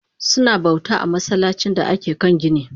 Suna bauta a masallacin da ake kan gini